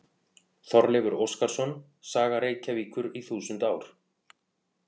Þorleifur Óskarsson: Saga Reykjavíkur í þúsund ár.